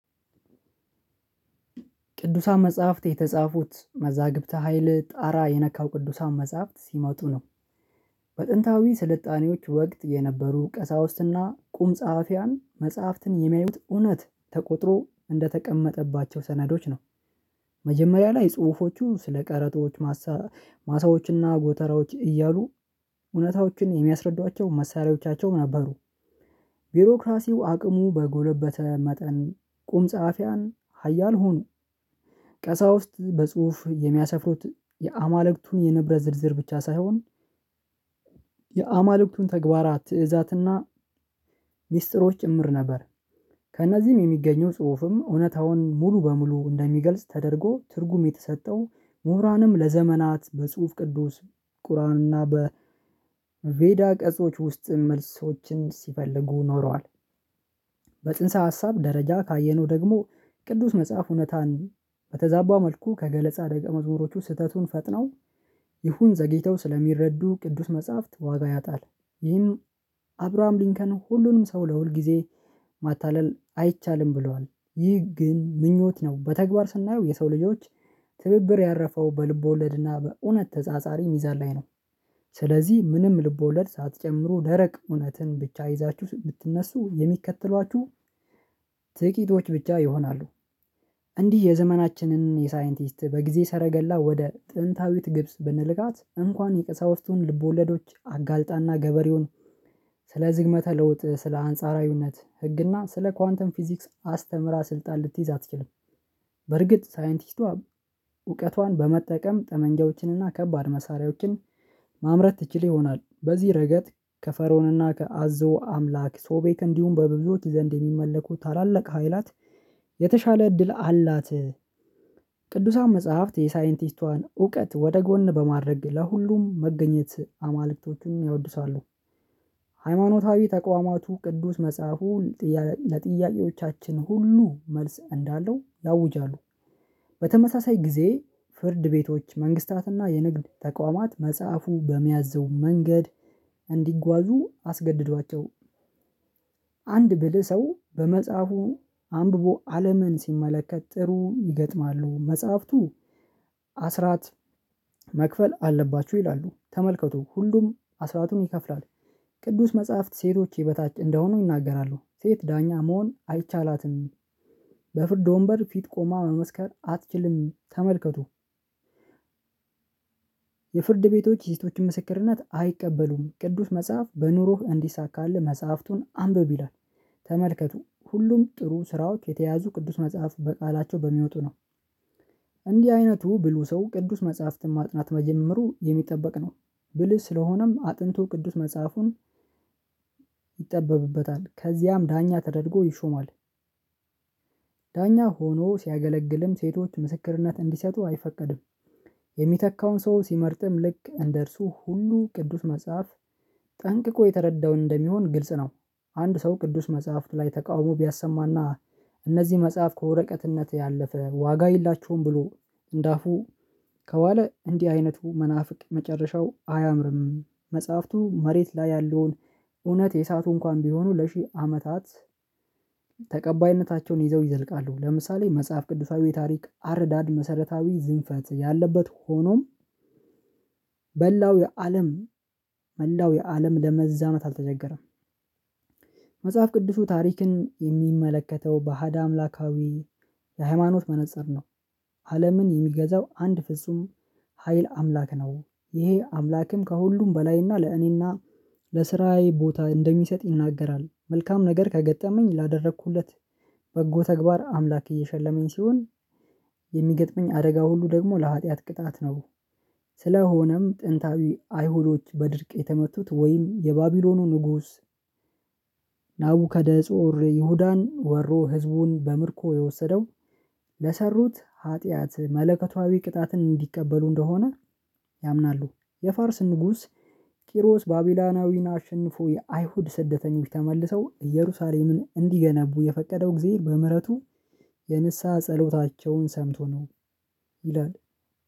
ቅዱሳን መጽሐፍት የተጻፉት መዛግብተ ሀይል ጣራ የነካው ቅዱሳን መጽሐፍት ሲመጡ ነው። በጥንታዊ ስልጣኔዎች ወቅት የነበሩ ቀሳውስት እና ቁም ጸሐፊያን መጽሐፍትን የሚያዩት እውነት ተቆጥሮ እንደተቀመጠባቸው ሰነዶች ነው። መጀመሪያ ላይ ጽሁፎቹ ስለ ቀረጦች ማሳ ማሳዎች እና ጎተራዎች እያሉ እውነታዎችን የሚያስረዷቸው መሳሪያዎቻቸው ነበሩ። ቢሮክራሲው አቅሙ በጎለበተ መጠን ቁም ጸሀፊያን ኃያል ሁኑ። ቀሳውስት በጽሁፍ የሚያሰፍሩት የአማልክቱን የንብረት ዝርዝር ብቻ ሳይሆን የአማልክቱን ተግባራት ትእዛዝ እና ሚስጥሮች ጭምር ነበር። ከእነዚህም የሚገኘው ጽሁፍም እውነታውን ሙሉ በሙሉ እንደሚገልጽ ተደርጎ ትርጉም የተሰጠው ምሁራንም ለዘመናት በጽሁፍ ቅዱስ ቁርአን እና በቬዳ ቅጾች ውስጥ መልሶችን ሲፈልጉ ኖረዋል። በጽንሰ ሀሳብ ደረጃ ካየነው ደግሞ ቅዱስ መጽሐፍ እውነታን በተዛባ መልኩ ከገለጻ ደቀመዝሙሮቹ ስህተቱን ፈጥነው ይሁን ዘግይተው ስለሚረዱ ቅዱስ መጽሐፍት ዋጋ ያጣል። ይህም አብርሃም ሊንከን ሁሉንም ሰው ለሁል ጊዜ ማታለል አይቻልም ብለዋል። ይህ ግን ምኞት ነው በተግባር ስናየው የሰው ልጆች ትብብር ያረፈው በልብወለድ እና በእውነት ተጻጻሪ ሚዛን ላይ ነው። ስለዚህ ምንም ልብወለድ ሳትጨምሩ ደረቅ እውነትን ብቻ ይዛችሁ ብትነሱ የሚከተሏችሁ ጥቂቶች ብቻ ይሆናሉ። እንዲህ የዘመናችንን የሳይንቲስት በጊዜ ሰረገላ ወደ ጥንታዊት ግብጽ ብንልካት እንኳን የቀሳውስቱን ልብወለዶች አጋልጣ እና ገበሬውን ስለ ዝግመተ ለውጥ ስለ አንጻራዊነት ህግና ስለ ኳንተም ፊዚክስ አስተምራ ስልጣን ልትይዝ አትችልም። በርግጥ ሳይንቲስቷ እውቀቷን በመጠቀም ጠመንጃዎችን እና ከባድ መሳሪያዎችን ማምረት ትችል ይሆናል። በዚህ ረገጥ ከፈርዖን እና ከአዞ አምላክ ሶቤክ እንዲሁም በብዙዎች ዘንድ የሚመለኩ ታላላቅ ሀይላት የተሻለ እድል አላት። ቅዱሳን መጽሐፍት የሳይንቲስቷን እውቀት ወደ ጎን በማድረግ ለሁሉም መገኘት አማልክቶቹን ያወድሳሉ። ሃይማኖታዊ ተቋማቱ ቅዱስ መጽሐፉ ጥያ ለጥያቄዎቻችን ሁሉ መልስ እንዳለው ያውጃሉ። በተመሳሳይ ጊዜ ፍርድ ቤቶች መንግስታት እና የንግድ ተቋማት መጽሐፉ በሚያዘው መንገድ እንዲጓዙ አስገድዷቸው። አንድ ብልህ ሰው በመጽሐፉ አንብቦ አለምን ሲመለከት ጥሩ ይገጥማሉ መጽሐፍቱ። አስራት መክፈል አለባችሁ ይላሉ ተመልከቱ ሁሉም አስራቱን ይከፍላል። ቅዱስ መጽሐፍት ሴቶች የበታች እንደሆኑ ይናገራሉ ሴት ዳኛ መሆን አይቻላትም። በፍርድ ወንበር ፊት ቆማ መመስከር አትችልም ተመልከቱ የፍርድ ቤቶች የሴቶችን ምስክርነት አይቀበሉም ቅዱስ መጽሐፍ በኑሮህ እንዲሳካልህ መጽሐፍቱን አንብብ ይላል። ተመልከቱ ሁሉም ጥሩ ስራዎች የተያያዙ ቅዱስ መጽሐፍ በቃላቸው በሚወጡ ነው። እንዲህ አይነቱ ብሉህ ሰው ቅዱስ መጽሐፍትን ማጥናት መጀመሩ የሚጠበቅ ነው። ብልህ ስለሆነም አጥንቶ ቅዱስ መጽሐፉን ይጠበብበታል ከዚያም ዳኛ ተደርጎ ይሾማል። ዳኛ ሆኖ ሲያገለግልም ሴቶች ምስክርነት እንዲሰጡ አይፈቀድም። የሚተካውን ሰው ሲመርጥም ልክ እንደ እርሱ ሁሉ ቅዱስ መጽሐፍ ጠንቅቆ የተረዳው እንደሚሆን ግልጽ ነው። አንድ ሰው ቅዱስ መጽሐፍ ላይ ተቃውሞ ቢያሰማ እና እነዚህ መጽሐፍ ከወረቀትነት ያለፈ ዋጋ የላቸውም። ብሎ እንደ አፉ ከዋለ እንዲህ አይነቱ መናፍቅ መጨረሻው አያምርም። መጽሐፍቱ መሬት ላይ ያለውን እውነት የሳቱ እንኳን ቢሆኑ ለሺህ አመታት ተቀባይነታቸውን ይዘው ይዘልቃሉ። ለምሳሌ መጽሐፍ ቅዱሳዊ የታሪክ አረዳድ መሰረታዊ ዝንፈት ያለበት ሆኖም በላው የአለም መላው የአለም ለመዛመት አልተቸገረም። መጽሐፍ ቅዱሱ ታሪክን የሚመለከተው በአሃድ አምላካዊ የሃይማኖት መነፀር ነው። አለምን የሚገዛው አንድ ፍጹም ሀይል አምላክ ነው። ይሄ አምላክም ከሁሉም በላይ እና ለእኔ እና ለስራዬ ቦታ እንደሚሰጥ ይናገራል። መልካም ነገር ከገጠመኝ ላደረኩለት በጎ ተግባር አምላክ እየሸለመኝ ሲሆን። የሚገጥመኝ አደጋ ሁሉ ደግሞ ለሀጥያት ቅጣት ነው። ስለሆነም ጥንታዊ አይሁዶች በድርቅ የተመቱት ወይም የባቢሎኑ ንጉስ ናቡከደነጾር ይሁዳን ወሮ ህዝቡን በምርኮ የወሰደው ለሰሩት ኃጢአት መለኮታዊ ቅጣትን እንዲቀበሉ እንደሆነ ያምናሉ። የፋርስ ንጉስ ቂሮስ ባቢሎናዊን አሸንፎ የአይሁድ ስደተኞች ተመልሰው እየሩሳሌምን እንዲገነቡ የፈቀደው እግዜር በምህረቱ የንስሃ ጸሎታቸውን ሰምቶ ነው። ይላል።